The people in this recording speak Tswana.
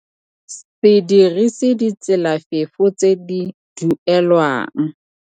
Se dirise ditselafefo tse di duelelwang.